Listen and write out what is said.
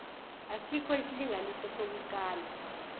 asikho isilinganiso sokukala